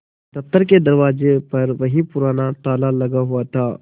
दफ्तर के दरवाजे पर वही पुराना ताला लगा हुआ था